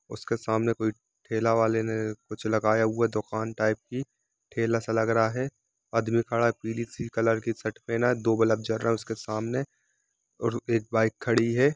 और ये हरा कलर है उसके सामने कोई ठेला वाले ने कुुुछ लगाया हुआ है दुकान टाइप की ठेला सा लग रहा है। आदमी खड़ा है पिली सी कलर की शर्ट पहना है। दो बलब जल रहा है उसके सामने और --